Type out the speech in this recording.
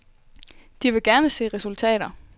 De vil gerne se resultater.